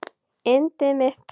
Yndið mitt!